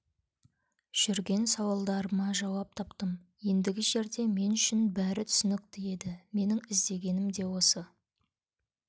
жүрген сауалдарыма жауап таптым ендігі жерде мен үшін бәрі түсінікті еді менің іздегенім де осы